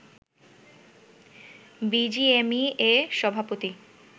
BGMEA সভাপতি